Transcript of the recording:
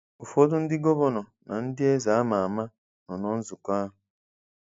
Ụfọdụ ndị gọvanọ na ndị eze ama ama nọ na nzụkọ ahụ.